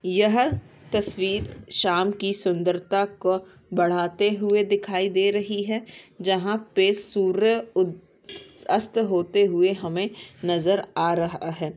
यह तस्वीर शाम की सुन्दरता को बढ़ाते हुए दिखाई दे रही है जहाँ पे सूर्य उद अस्त होते हुए हमे नजर आ रहा है।